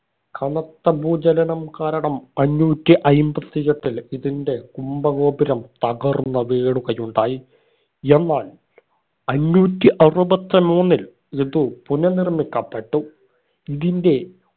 കനത്ത ഭൂചലനം കാരണം അഞ്ഞൂറ്റി അയിമ്പതി എട്ടിൽ ഇതിന്റെ കുമ്പ ഗോപുരം തകർന്ന് വീഴുകയുണ്ടായി എന്നാൽ അഞ്ഞൂറ്റി അറുപത്തി മൂന്നിൽ ഇതു പുനർനിർമ്മിക്കപ്പെട്ടു ഇതിന്റെ